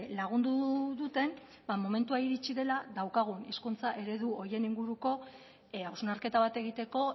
lagundu duten ba momentua iritsi dela daukagun hizkuntza eredu horien inguruko hausnarketa bat egiteko